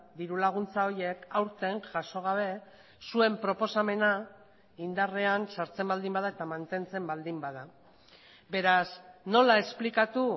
diru laguntza horiek aurten jaso gabe zuen proposamena indarrean sartzen baldin bada eta mantentzen baldin bada beraz nola esplikatu